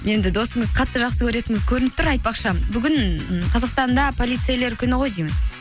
енді досыңызды қатты жақсы көретініңіз көрініп тұр айтпақшы бүгін ы қазақстанда полицейлер күні ғой деймін